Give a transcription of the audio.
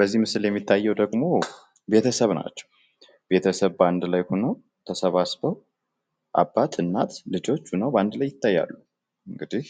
በዚህ ምስል ላይ የሚታየው ደግሞ ቤተሰብ ናቸዉ። ቤተሰብ በአንድ ላይ ሁኖ ተሰባስቦ አባት እናት ልጆች ሁነው በአንድ ላይ ይታያሉ። እንግዲህ